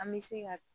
An bɛ se ka